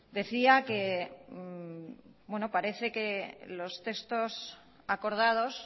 decía que bueno parece que los textos acordados